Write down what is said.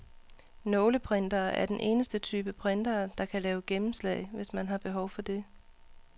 Nåleprintere er den eneste type printere, der kan lave gennemslag, hvis man har behov det.